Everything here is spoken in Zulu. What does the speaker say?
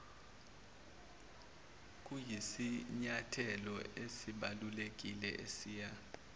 kuyisinyathelo esibalulekile esiya